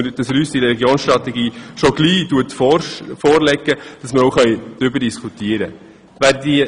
Sie soll uns diese Religionsstrategie möglichst rasch vorlegen, damit wir bald darüber diskutieren können.